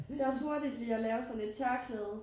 Det også hurtigt lige at lave sådan et tørklæde